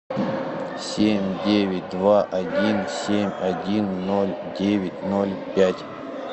семь девять два один семь один ноль девять ноль пять